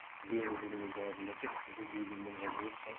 биылғы жылдың өзін алатын болсақ жүз елу мыңға жуық